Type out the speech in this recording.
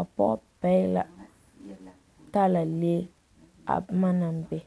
a pɔge pɛgle la talaalee a boma naŋ be.